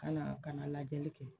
Ka na banalajɛli kɛ